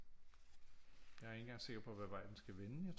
Jeg er ikke engang sikker på hvad vej den skal vende